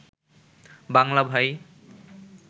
বাংলা ভাই